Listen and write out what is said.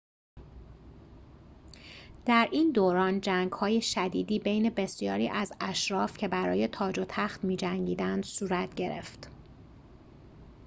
در این دوران جنگ‌های شدیدی بین بسیاری از اشراف که برای تاج و تخت می‌جنگیدند صورت گرفت